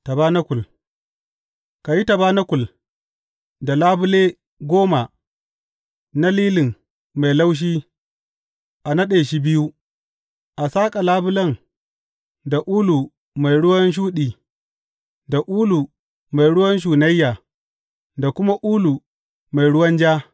Tabanakul Ka yi tabanakul da labule goma na lilin mai laushi a naɗe shi biyu, a saƙa labulen da ulu mai ruwan shuɗi, da ulu mai ruwan shunayya, da kuma ulu mai ruwan ja.